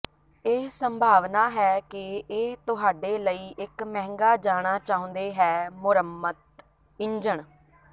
ਇਹ ਸੰਭਾਵਨਾ ਹੈ ਕਿ ਇਹ ਤੁਹਾਡੇ ਲਈ ਇੱਕ ਮਹਿੰਗਾ ਜਾਣਾ ਚਾਹੁੰਦੇ ਹੈ ਮੁਰੰਮਤ ਇੰਜਣ